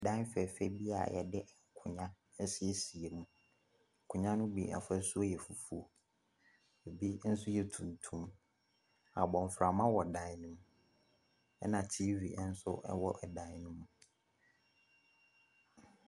Dan fɛɛfɛ bi a wɔde nkonnwa asiesie mu. Nkonnwa no bi afasuo yɛ fufuo, ɛbu nso yɛ tuntum. Abɔfra mono wɔ dan no mu, ɛna TV nso wɔ dan no mu.